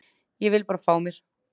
Ég vil bara fá mér.